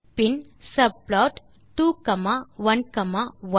bin subplot 2 comma 1 comma 1